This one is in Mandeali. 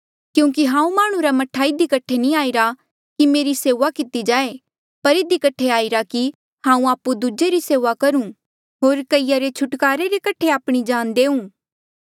क्यूंकि हांऊँ माह्णुं रा मह्ठा इधी कठे नी आईरा कि मेरी सेऊआ किती जाए पर इधी कठे आईरा कि हांऊँ आपु दूजे री सेऊआ करूं होर कईया रे छुटकारे रे कठे आपणी जान देऊँ